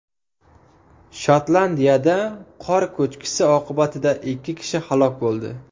Shotlandiyada qor ko‘chkisi oqibatida ikki kishi halok bo‘ldi.